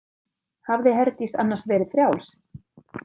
Hafði Herdís annars verið frjáls?